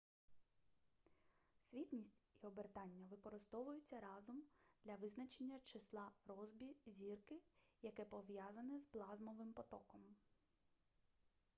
світність і обертання використовуються разом для визначення числа россбі зірки яке пов'язане з плазмовим потоком